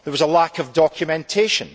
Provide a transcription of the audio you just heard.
There was a lack of documentation